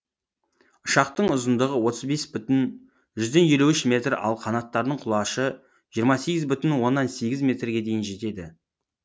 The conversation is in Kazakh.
ұшақтың ұзындығы отыз бес бүтін жүзден елу үш метр ал қанаттарының құлашы жиырма сегіз бүтін оннан сегіз метрге дейін жетеді